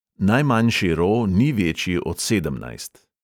Najmanjši ro ni večji od sedemnajst.